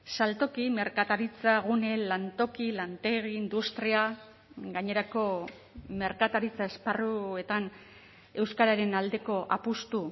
saltoki merkataritza gune lantoki lantegi industria gainerako merkataritza esparruetan euskararen aldeko apustu